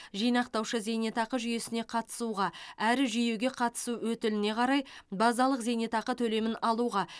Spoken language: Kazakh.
жинақтаушы зейнетақы жүйесіне қатысуға әрі жүйеге қатысу өтіліне қарай базалық зейнетақы төлемін алуға